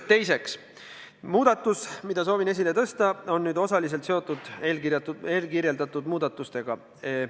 Teiseks, muudatus, mida soovin nüüd esile tõsta, on osaliselt seotud eelmärgitud muudatustega.